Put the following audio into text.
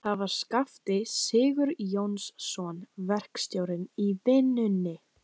Það var Skafti Sigurjónsson, verkstjórinn í vinnunni.